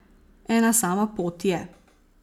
Ena sama pot je.